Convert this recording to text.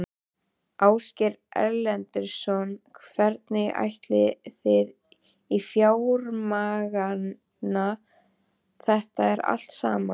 Ásgeir Erlendsson: Hvernig ætlið þið að fjármagna þetta allt saman?